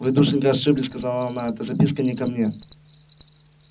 вы душенька ошиблись сказала она эта записка не ко мне